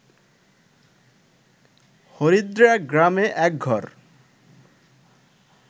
হরিদ্রাগ্রামে এক ঘর